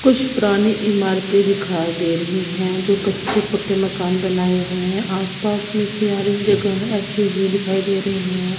कुछ पुरानी इमारतें दिखाई दे रही है जो कच्चे पक्के मकान बनाए हुए हैं आसपास में से आ रही जगह ऐसे ही दिखाई दे रहे हैं।